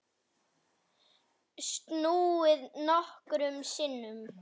Snúið nokkrum sinnum.